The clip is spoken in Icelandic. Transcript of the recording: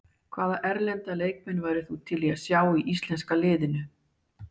Hvaða erlenda leikmann værir þú til í að sjá í íslenska liðinu?